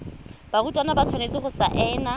barutwana ba tshwanetse go saena